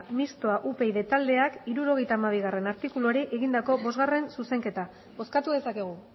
mistoa upyd taldeak hirurogeita hamabigarrena artikuluari egindako bosgarren zuzenketa bozkatu dezakegu